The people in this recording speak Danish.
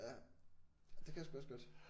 Ja det kan jeg sgu også godt